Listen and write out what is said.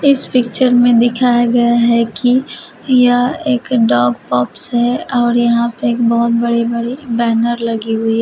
इस पिक्चर में दिखाया गया है कि यह एक डॉग पाॅप्स है और यहां पर एक बहुत बड़ी बड़ी बैनर लगी हुई है।